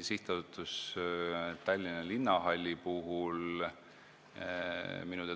Sihtasutusele Tallinna Linnahall on